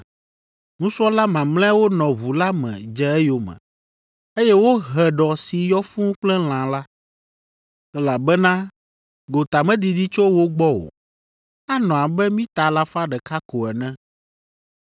Nusrɔ̃la mamlɛawo nɔ ʋu la me dze eyome, eye wohe ɖɔ si yɔ fũu kple lã la, elabena gota medidi tso wo gbɔ o; anɔ abe mita alafa ɖeka ko ene.